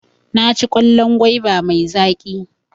Naci kwallon gwaiba mai zaƙi.